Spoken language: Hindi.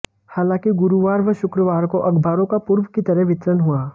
हालांकि गुरुवार व शुक्रवार को अखबारों का पूर्व की तरह वितरण हुआ